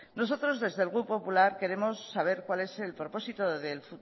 nosotros desde el grupo popular queremos saber cuál es el propósito